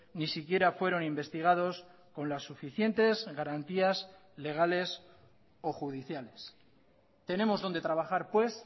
ni siquiera fueron investigados con las suficientes garantías legales o judiciales tenemos donde trabajar pues